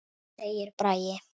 segir Bragi.